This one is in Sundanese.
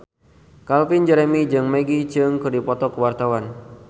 Calvin Jeremy jeung Maggie Cheung keur dipoto ku wartawan